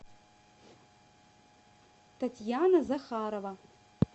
татьяна захарова